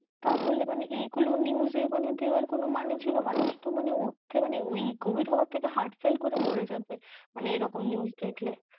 তাহলে মানে এগুলো news এ দেওয়ার কোনো মানে ছিলো, মানুষ তো মানে ওর থেকে মানে ওই covid হওয়ার থেকে heart fail করে মরে যাবে মানে এইরকম news দেখলে।